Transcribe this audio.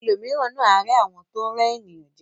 Ẹlòmíràn náà a rẹ àwọn tó n rẹ ènìyàn jẹ.